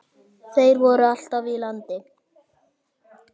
Þeir voru alltaf í landi.